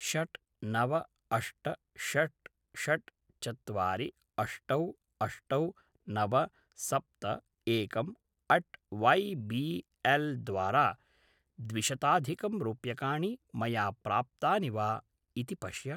षट्‌ नव अष्ट षट्‌​ षट्‌ ​ चत्वारि अष्टौ अष्टौ नव सप्त एकम् अट्‌ वै बी एल् द्वारा द्विशताधिकं रूप्यकाणि मया प्राप्तानि वा इति पश्य